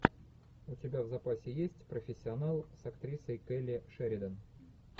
у тебя в запасе есть профессионал с актрисой келли шеридан